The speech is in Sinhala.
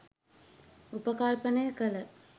උපකල්පනය කළ